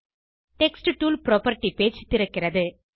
text tool property page திறக்கிறது